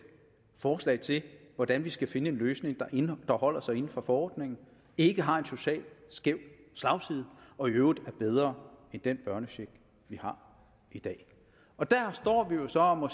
forslag til hvordan vi skal finde en løsning der holder sig inden for forordningen ikke har en social slagside og i øvrigt er bedre end den børnecheck vi har i dag der står vi jo så og må